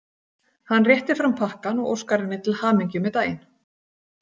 Hann réttir fram pakkann og óskar henni til hamingju með daginn.